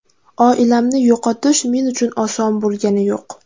Oilamni yo‘qotish men uchun oson bo‘lgani yo‘q.